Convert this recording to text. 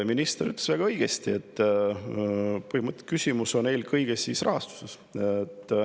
Minister ütles väga õigesti, et küsimus on eelkõige rahastuses.